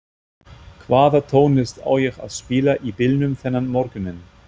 Hvaða tónlist á ég að spila í bílnum þennan morguninn?